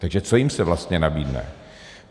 Takže co se jim vlastně nabídne?